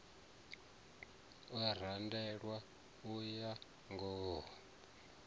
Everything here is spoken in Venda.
o randelwaho u ya ngawo